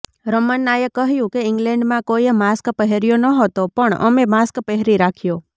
રમન્નાએ કહ્યું કે ઇગ્લેન્ડમાં કોઈએ માસ્ક પહેર્યો નહોતો પણ અમે માસ્ક પહેરી રાખ્યો